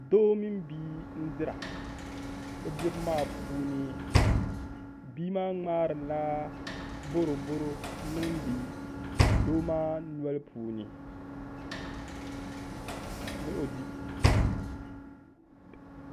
Doo mini bia n dira bi dibu maa puuni bia maa ŋmaarila boroboro n niŋdi doo maa noli puuni ni o di